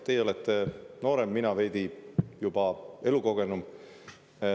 Teie olete noorem, mina juba veidi elukogenum.